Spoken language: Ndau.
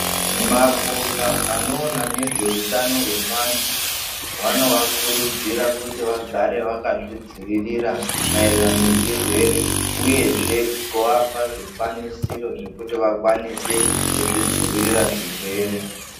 Mapoka anoona nezvehutano hwevantu vanova kurudzirai kuti vagare vakazvidzivirira maererano nezvirwere uyezve kuvapa zvikwanisiro zvekuti vakwanise kuzvidzivirira zvirwere.